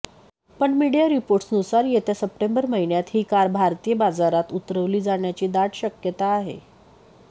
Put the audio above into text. पण मीडिया रिपोर्ट्सनुसार येत्या सप्टेंबर महिन्यात ही कार भारतीय बाजारात उतरवली जाण्याची दाट शक्यता आहे